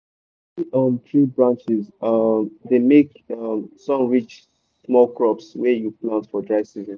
cuttin um tree branches um dey make um sun reach small crops wey you plant for dry season.